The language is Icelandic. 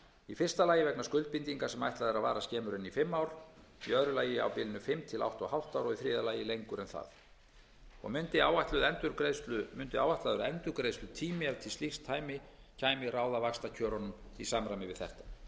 í fyrsta lagi vegna skuldbindinga sem ætlað er að vara skemur en í fimm ár í öðru lagi á bilinu fimm til átta og hálft ár og í þriðja lagi lengur en það mundi áætlaður endurgreiðslutími ef til slíks kæmi ráða vaxtakjörunum í samræmi við